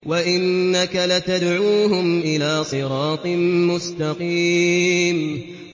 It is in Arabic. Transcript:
وَإِنَّكَ لَتَدْعُوهُمْ إِلَىٰ صِرَاطٍ مُّسْتَقِيمٍ